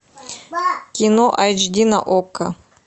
кино айч ди на окко